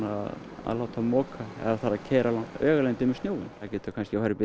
að láta moka ef það þarf að keyra langar vegalengdir með snjóinn það getur kannski farið upp í